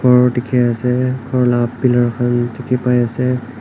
ghor dikhi ase ghor lah piller khan dikhi pai ase.